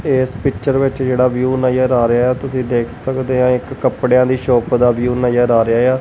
ਇਸ ਪਿਕਚਰ ਵਿੱਚ ਜਿਹੜਾ ਵਿਊ ਨਜ਼ਰ ਆ ਰਿਹਾ ਤੁਸੀਂ ਦੇਖ ਸਕਦੇ ਹੋ ਇੱਕ ਕੱਪੜਿਆਂ ਦੀ ਸ਼ੋਪ ਦਾ ਵਿਊ ਨਾਜ਼ਰ ਆ ਰਿਹਾ ਹੈ।